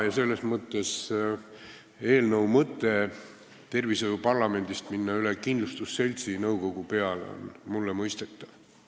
Ja selles mõttes on mulle eelnõu mõte minna tervishoiuparlamendilt üle kindlustusseltsi nõukogu peale mõistetav.